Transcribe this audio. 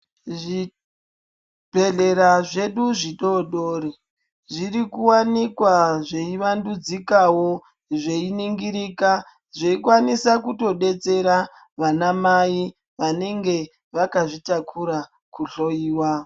Zvibhehlera zvedu zvidodori zviri kuwanikwa zveivandudzikawo zveiningirika zveikwanisa kutodetsera vanamai vanenge vakazvitakura kuhloyiwa.